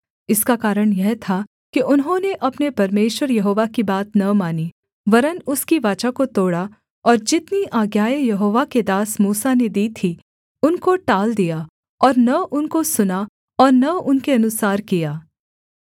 इसका कारण यह था कि उन्होंने अपने परमेश्वर यहोवा की बात न मानी वरन् उसकी वाचा को तोड़ा और जितनी आज्ञाएँ यहोवा के दास मूसा ने दी थीं उनको टाल दिया और न उनको सुना और न उनके अनुसार किया